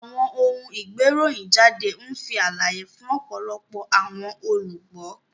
Awọn oun-igberohinjade nfi alaye fun ọpọlọpọ awọn olugbo.